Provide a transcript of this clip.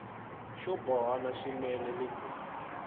xo bohana swinene ni ku